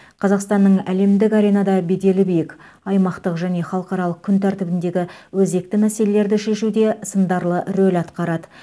қазақстанның әлемдік аренада беделі биік аймақтық және халықаралық күн тәртібіндегі өзекті мәселелерді шешуде сындарлы рөл атқарады